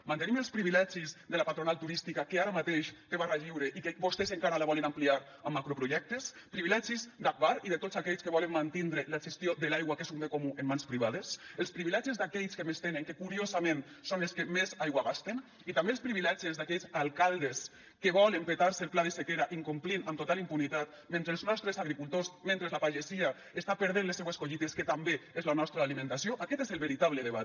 mantenim els privilegis de la patronal turística que ara mateix té barra lliure i que vostès encara la volen ampliar amb macroprojectes privilegis d’agbar i de tots aquells que volen mantindre la gestió de l’aigua que és un bé comú en mans privades els privilegis d’aquells que més tenen que curiosament són els que més aigua gasten i també els privilegis d’aquells alcaldes que volen petar se el pla de sequera incomplint amb total impunitat mentre els nostres agricultors mentre la pagesia està perdent les seues collites que també és la nostra alimentació aquest és el veritable debat